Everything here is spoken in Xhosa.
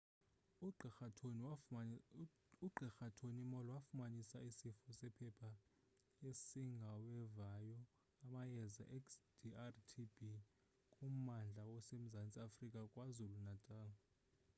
ugqr. tony moll wafumanisa isifo sephepha esingawevayo amayeza xdr-tb kummandla osemzantsi afrika kwazulu-natal